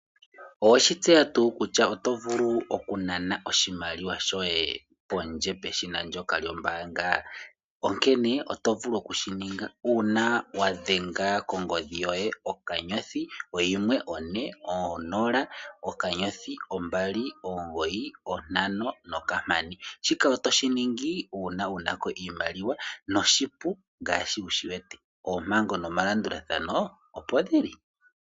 Oweshi tseya tuu kutya oto vulu okunana oshimaliwa shoye pondje peshina ndyoka lyombaanga. Onkene oto vulu okushininga uuna wa dhenga kongodhi yoye okanyothi oyimwe one onola okanyothi ombali omugoyi ontano nokampani. Shika oto shiningi uuna wuna ko oshimaliwa. Noshipu ngaashi wushi wete oompango nomalandulathano opo shili.